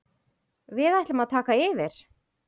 Við ætlum að taka yfir.